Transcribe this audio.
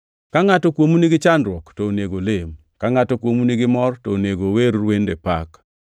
Ka ngʼato kuomu nigi chandruok, to onego olem. Ka ngʼato kuomu nigi mor, to onego ower wende pak.